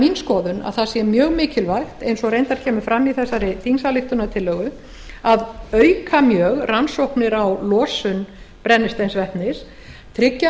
mín skoðun að það sé mjög mikilvægt eins og reyndar kemur fram í þessari þingsályktunartillögu að auka mjög rannsóknir á losun brennisteinsvetnis tryggja